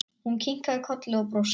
Hún kinkaði kolli og brosti.